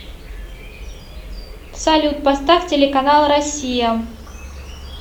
салют поставь телеканал россия